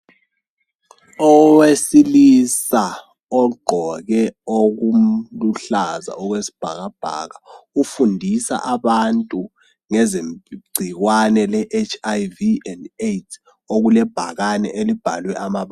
Owesilisa ogqoke okuluhlaza okwesibhakabhaka ufundisa abantu ngeze gcikwane le HIV and AIDS okule bhakane elibhalwe amabala .